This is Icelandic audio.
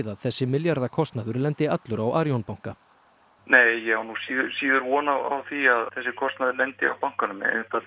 að þessi milljarðakostnaður lendi allur á Arion banka nei ég á nú síður von á því að þessi kostnaður lendi á bankanum